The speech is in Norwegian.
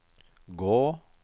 gå